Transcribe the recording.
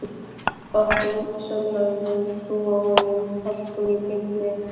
Okkur, sem höfðum trú á honum Halldóri Birni